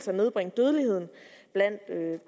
nedbringe dødeligheden